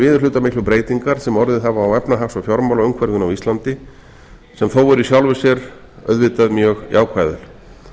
viðurhlutamiklu breytingar sem orðið hafa á efnahags og fjármálaumhverfinu á íslandi sem þó eru í sjálfu sér auðvitað mjög jákvæðar